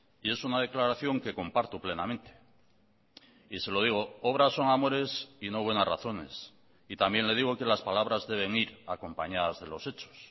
y es una declaración que comparto plenamente y se lo digo obras son amores y no buenas razones y también le digo que las palabras deben ir acompañadas de los hechos